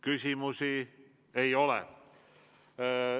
Küsimusi ei ole.